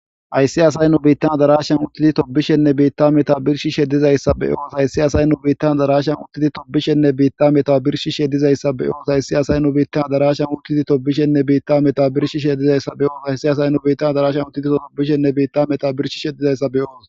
ayssi asay nu beittan darashan utili tobishenne beitta meta birshi sheddizayssa be oos hayssi asay nu beittan darashan utidi tobishenne beitta meta birshi shedizayssa be oos hayssi asay nu beittan darashan utidi tobishenne beitta meta birshi shedizayssa be oos hayssi asay nu bettan darashan utiliso tobishenne beitta meta birshi shedizayssa be oos